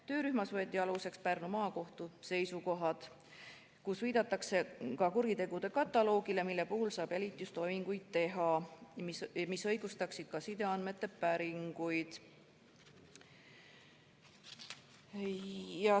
Töörühmas võeti aluseks Pärnu Maakohtu seisukohad, kus viidatakse ka kuritegude kataloogile, mille puhul saab jälitustoiminguid teha ja mis õigustaksid ka sideandmete päringuid.